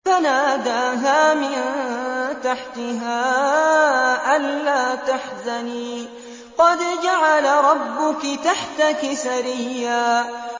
فَنَادَاهَا مِن تَحْتِهَا أَلَّا تَحْزَنِي قَدْ جَعَلَ رَبُّكِ تَحْتَكِ سَرِيًّا